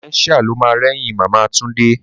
Dementia lo ma rẹ́yìn Màmá Túndé